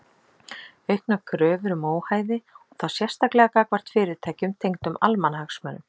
Auknar kröfur um óhæði og þá sérstaklega gagnvart fyrirtækjum tengdum almannahagsmunum.